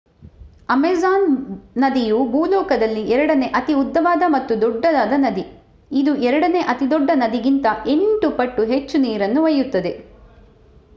Amazon ನದಿಯು ಭೂಲೋಕದಲ್ಲಿ ಎರಡನೇ ಅತಿ ಉದ್ಧವಾದ ಮತ್ತು ದೊಡ್ಡದಾದ ನದಿ ಇದು ಎರಡನೇ ಅತಿದೊಡ್ಡ ನದಿಗಿಂತ 8 ಪಟ್ಟು ಹೆಚ್ಚು ನೀರನ್ನು ಒಯ್ಯುತ್ತದೆ